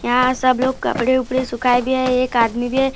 यहां सब लोग कपड़े उपड़े सुखाए भी है एक आदमी भी है।